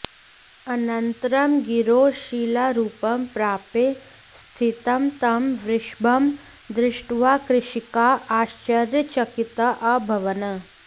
अनन्तरं गिरौ शिलारूपं प्राप्य स्थीतं तं वृषभं दृष्ट्वा कृषिकाः आश्र्चर्यचकिताः अभवन्